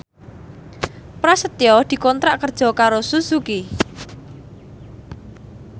Prasetyo dikontrak kerja karo Suzuki